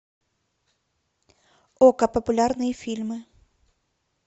окко популярные фильмы